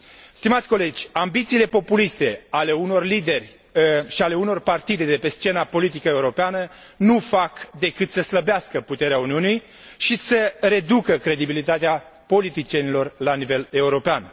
Stimați colegi, ambițiile populiste ale unor lideri și ale unor partide de pe scena politică europeană nu fac decât să slăbească puterea Uniunii și să reducă credibilitatea politicienilor la nivel european.